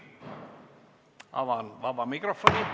Avan vaba mikrofoni.